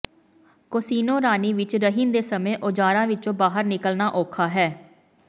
casino ਰਾਣੀ ਵਿਚ ਰਹਿਣ ਦੇ ਸਮੇਂ ਔਜ਼ਾਰਾਂ ਵਿੱਚੋਂ ਬਾਹਰ ਨਿਕਲਣਾ ਔਖਾ ਹੈ